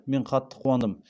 мен қатты қуандым